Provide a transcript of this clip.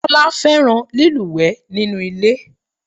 Tólá fẹ́ràn lílúwèé nínú ilé